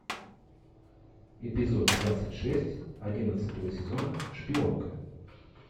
эпизод двадцать шесть одиннадцатого сезона шпионка